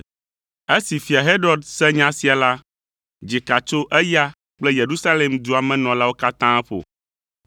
Esi Fia Herod se nya sia la, dzika tso eya kple Yerusalem dua me nɔlawo katã ƒo.